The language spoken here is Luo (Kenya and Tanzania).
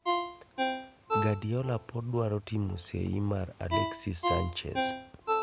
Guardiola pod dwaro timo seyi mar Alexis Sanchez